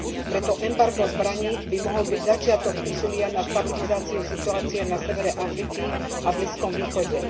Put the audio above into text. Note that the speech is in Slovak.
Preto embargo zbraní by mohol byť začiatok úsilia o stabilizáciu situácie na severe Afriky a Blízkom východe.